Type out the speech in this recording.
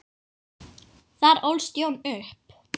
Þar ólst Jón upp.